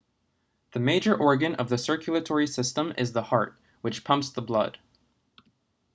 the major organ of the circulatory system is the heart which pumps the blood